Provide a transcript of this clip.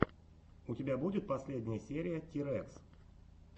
у тебя будет последняя серия тирэкс